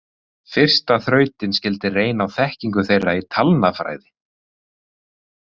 Fyrsta þrautin skyldi reyna á þekkingu þeirra í talnafræði.